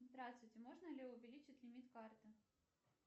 здравствуйте можно ли увеличить лимит карты